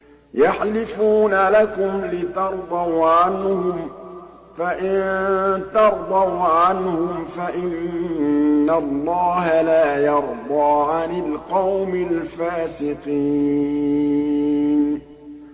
يَحْلِفُونَ لَكُمْ لِتَرْضَوْا عَنْهُمْ ۖ فَإِن تَرْضَوْا عَنْهُمْ فَإِنَّ اللَّهَ لَا يَرْضَىٰ عَنِ الْقَوْمِ الْفَاسِقِينَ